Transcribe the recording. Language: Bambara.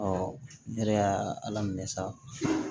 ne yɛrɛ y'a ala minɛ sa